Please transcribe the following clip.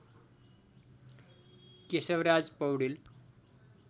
Keshavraj Paudel